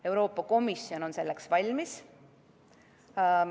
Euroopa Komisjon on selleks valmis.